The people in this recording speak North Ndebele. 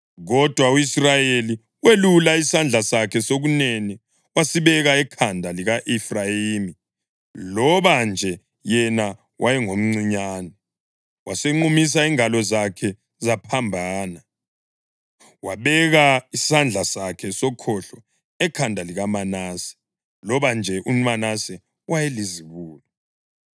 Kodwa u-Israyeli welula isandla sakhe sokunene wasibeka ekhanda lika-Efrayimi, loba nje yena wayengomncinyane, wasenqumisa izingalo zakhe zaphambana, wabeka isandla sakhe sokhohlo ekhanda likaManase, loba nje uManase wayelizibulo.